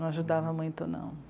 Não ajudava muito, não.